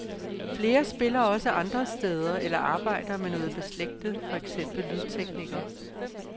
Flere spiller også andre steder eller arbejder med noget beslægtet, for eksempel lydtekniker.